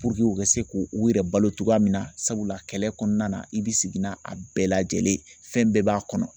u ka se k'u u yɛrɛ balo cogoya min na sabula kɛlɛ kɔnɔna na i bɛ sigi n'a a bɛɛ lajɛlen ye fɛn bɛɛ b'a kɔnɔ